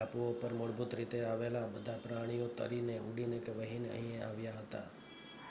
ટાપુઓ પર મૂળભૂત રૂપે આવેલાં બધાં પ્રાણીઓ તરીને ઊડીને કે વહીને અહીં આવ્યા હતાં